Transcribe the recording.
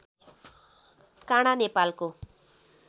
काँडा नेपालको